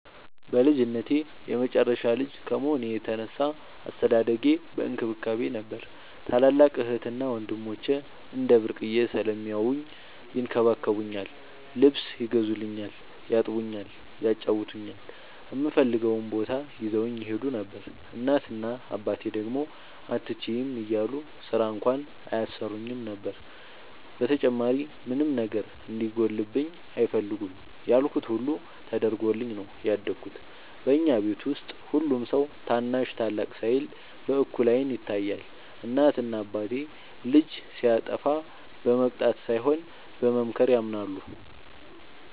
በልጅነቴ የመጨረሻ ልጅ ከመሆኔ የተነሳ አስተዳደጌ በእንክብካቤ ነበር። ታላላቅ እህትና ወንድሞቸ እንደ ብርቅየ ስለሚያውኝ ይንከባከቡኛል ,ልብስ ይገዙልኛል ,ያጥቡኛል ,ያጫውቱኛል, እምፈልገውም ቦታ ይዘውኝ ይሄዱ ነበር። እናት እና አባቴ ደግሞ አትችይም እያሉ ስራ እንኳን አያሰሩኝም ነበር። በተጨማሪም ምንም ነገር እንዲጎልብኝ አይፈልጉም ያልኩት ሁሉ ተደርጎልኝ ነው ያደኩት። በኛ ቤት ውስጥ ሁሉም ሰው ታናሽ ታላቅ ሳይል በእኩል አይን ይታያል። እናት እና አባቴ ልጅ ሲያጠፋ በመቅጣት ሳይሆን በመምከር ያምናሉ።